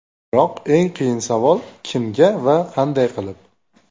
Biroq eng qiyin savol: kimga va qanday qilib?